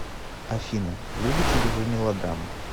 афина любите ли вы мелодрамы